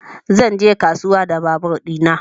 Zan je kasuwa da babur ɗina